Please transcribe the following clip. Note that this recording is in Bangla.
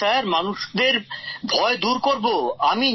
দূর করব স্যার মানুষদের ভয় দূর করব স্যার